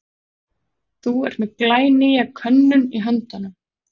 Þú ert með glænýja könnun í höndunum?